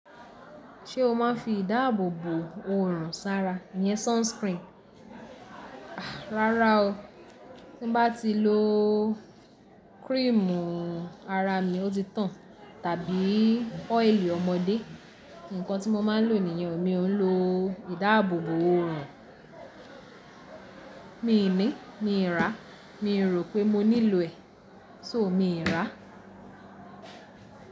Ṣé o má ń fi ìdáàbòbò òrùn sára? Iyẹn sunscreen. Rárá o, tí bá ti lo cream ara mi ó ti tàn tàbí oil ọmọdé. Nǹkan tí mo máa ń lò nìyẹn, mi ò ń lo ìdáàbòbò òrùn. Mi ì ní, mi rà, mi rò pé mo nílò ẹ̀, só mi rà.